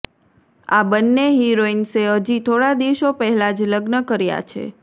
આ બન્ને હીરોઈન્સે હજી થોડા દિવસો પહેલા જ લગ્ન કર્યા છે